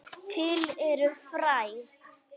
Til eru fræ.